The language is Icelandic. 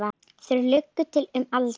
Þeir lugu til um aldur.